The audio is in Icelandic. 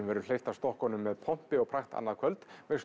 verður hleypt af stokkunum með pompi og prakt annað kvöld með